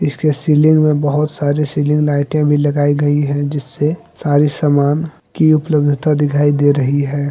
इसके सीलिंग में बहोत सारी सीलिंग लाइटें भी लगाई गई है जिससे सारे सामान की उपलब्धता दिखाई दे रही है।